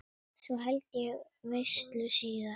Svo held ég veislu síðar.